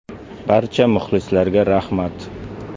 Barcha muxlislarga rahmat.